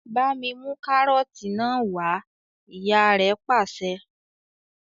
"Bá mi mú kárọ́tì náà wà á!" Ìyá rẹ̀ pàṣẹ.